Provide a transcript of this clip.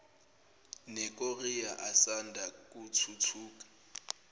nekorea asanda kuthuthuka